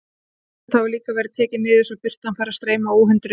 Gluggatjöld hafa líka verið tekin niður, svo að birtan fær að streyma óhindruð inn.